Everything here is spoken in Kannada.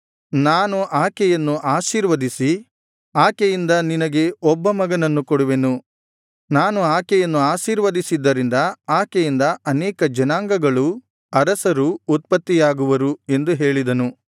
ನಾನು ಆಕೆಯನ್ನು ಆಶೀರ್ವದಿಸಿ ಆಕೆಯಿಂದ ನಿನಗೆ ಒಬ್ಬ ಮಗನನ್ನು ಕೊಡುವೆನು ನಾನು ಆಕೆಯನ್ನು ಆಶೀರ್ವದಿಸಿದ್ದರಿಂದ ಆಕೆಯಿಂದ ಅನೇಕ ಜನಾಂಗಗಳೂ ಅರಸರೂ ಉತ್ಪತ್ತಿಯಾಗುವರು ಎಂದು ಹೇಳಿದನು